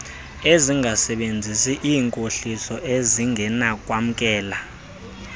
ezingasebenzisi iinkohliso ezingenakwamkela